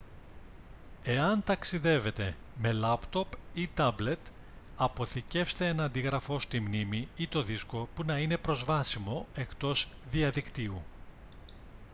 εάν ταξιδεύετε με λάπτοπ ή τάμπλετ αποθηκεύστε ένα αντίγραφο στη μνήμη ή το δίσκο που να είναι προσβάσιμο εκτός διαδικτύου